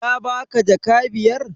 Ya baka jaka biyar?